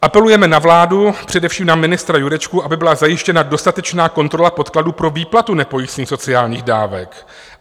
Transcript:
Apelujeme na vládu, především na ministra Jurečku, aby byla zajištěna dostatečná kontrola podkladů pro výplatu nepojistných sociálních dávek."